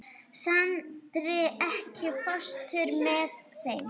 Sandri, ekki fórstu með þeim?